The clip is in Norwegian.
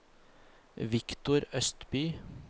Victor Østby